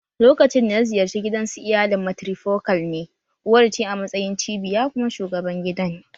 Lokacin da na ziyarci gidansu iyalin matirifokal ne, uwar ce a matsayin cibiya kuma shugaban gidan